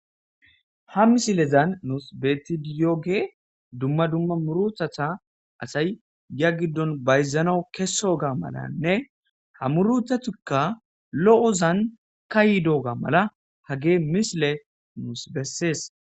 ha misilezan nus beti diyooge dumma dumma muruthatha asay ya giddon bayzano kesoga malanne ha muruthatikka lo'ozan kayi dooga mala hagee misile nus bessees.